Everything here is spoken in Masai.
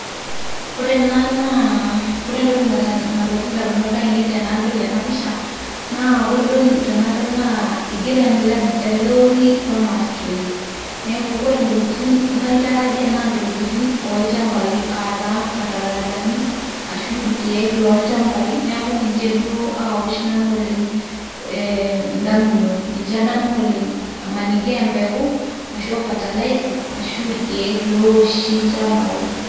Ore ena naa kore entoki nalotu ndamunot ainei tenadol ena pisha naa kore duo tenadol naa igero ele ori farmers choice neeku kore ntokitin naitarajia naa ntokitin oolchambai aa taa fatalaizani, ashuu irkeek lolchambai. Neeku nje duo awosh nanu ndamunot, ninje adamu oleng' maniki a embeku ashu a fertilizer ashu a irkeek looshi ilchambai.